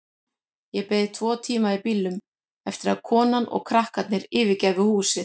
Ég beið tvo tíma í bílnum eftir því að konan og krakkarnir yfirgæfu húsið.